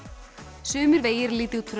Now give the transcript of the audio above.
sumir vegir líta út fyrir